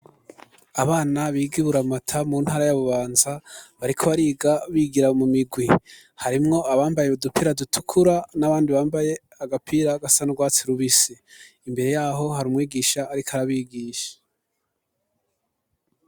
Abana, biga i Buramata, mu ntara ya Bubanza, bariko bariga, bigira mu migwi; harimwo abambaye, udupira dutukura, n'abandi bambaye, agapira gasa n'urwatsi rubisi; imbere y'aho, hari umwigisha, ariko arabigisha.